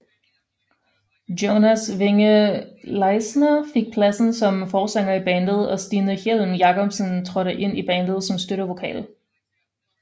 Jonas Winge Leisner fik pladsen som forsanger i bandet og Stine Hjelm Jacobsen trådte ind i bandet som støttevokal